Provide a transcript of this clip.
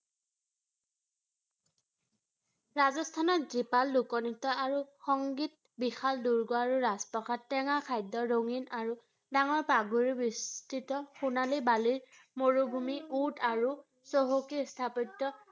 ৰাজস্থানত জীপাল লোক-নৃত্য আৰু সংগীত, বিশাল দুৰ্গ আৰু ৰাজপ্ৰসাদ, টেঙা খাদ্য, ৰঙীন আৰু ডাঙৰ পাগুৰি, বিস্তৃত সোণালী বালিৰ মৰুভূমি, উট আৰু চহকী স্থাপত্য,